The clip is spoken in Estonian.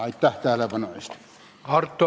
Aitäh tähelepanu eest!